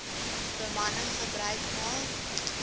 bemanning gebruik maak